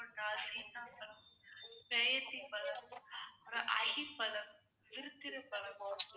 பழம், அஹ் பழம், பழம்